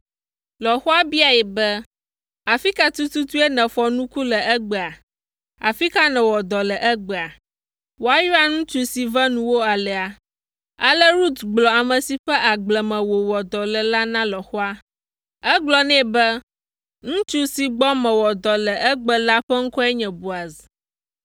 Lɔ̃xoa biae be, “Afi ka tututue nèfɔ nuku le egbea? Afi ka nèwɔ dɔ le egbea? Woayra ŋutsu si ve nuwò alea!” Ale Rut gblɔ ame si ƒe agble me wòwɔ dɔ le la na lɔ̃xoa. Egblɔ nɛ be, “Ŋutsu si gbɔ mewɔ dɔ le egbe la ƒe ŋkɔe nye Boaz.”